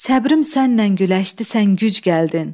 Səbrim sənnən güləşdi sən güc gəldin.